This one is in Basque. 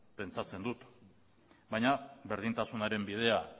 pentsatzen dut baina berdintasunaren bidea